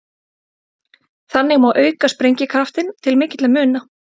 Þannig má auka sprengikraftinn til mikilla muna.